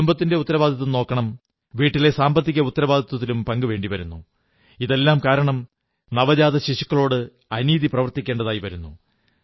കുടുംബത്തിന്റെ ഉത്തരവാദിത്വം നോക്കണം വീട്ടിലെ സാമ്പത്തിക ഉത്തരവാദിത്വങ്ങളിലും പങ്ക് ചേരേണ്ടി വരുന്നു ഇതെല്ലാം കാരണം നവജാത ശിശുക്കളോട് അനീതി പ്രവർത്തിക്കേണ്ടിവരുന്നു